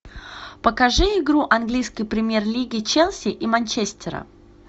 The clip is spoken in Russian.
покажи игру английской премьер лиги челси и манчестера